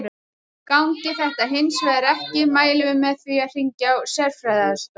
Gangi þetta hins vegar ekki mælum við með því að hringja á sérfræðiaðstoð.